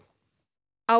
á